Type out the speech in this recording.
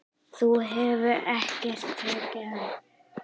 Þú hefur ekki tekið hana?